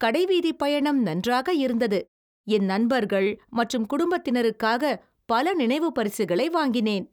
கடைவீதிப்பயணம் நன்றாக இருந்தது, என் நண்பர்கள் மற்றும் குடும்பத்தினருக்காக பல நினைவுப் பரிசுகளை வாங்கினேன்.